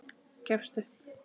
Gefst upp.